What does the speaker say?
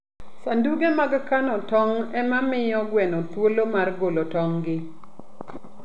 Sanduge mag kano tong' ema miyo gweno thuolo mar golo tong'gi.